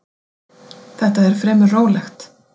Þetta er fremur rólegt.